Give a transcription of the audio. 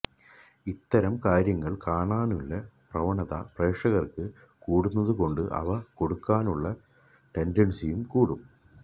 ഇത്തരം കാര്യങ്ങള് കാണാനുള്ള പ്രവണത പ്രേക്ഷകര്ക്ക് കൂടുന്നതുകൊണ്ട് അവ കൊടുക്കാനുള്ള ടെന്ഡന്സിയും കൂടും